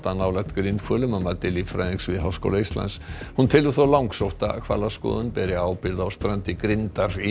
nálægt grindhvölum að mati líffræðings við Háskóla Íslands hún telur þó langsótt að hvalaskoðun beri ábyrgð á strandi grindar í